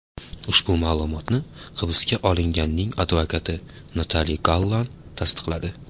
Ushbu ma’lumotni hibsga olinganning advokati Natali Gallan tasdiqladi.